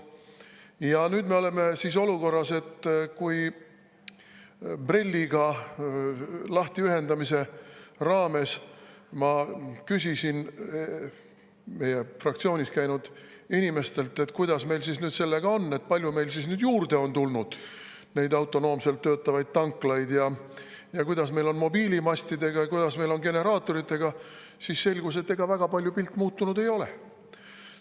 Ja nüüd me oleme sellises olukorras, et kui ma BRELL‑ist lahtiühendamise puhul küsisin meie fraktsioonis käinud inimestelt, kuidas meil siis sellega on, kui palju meil nüüd on juurde tulnud autonoomselt töötavaid tanklaid, kuidas meil on mobiilimastidega ja kuidas meil on generaatoritega, siis selgus, et ega pilt väga palju muutunud ei ole.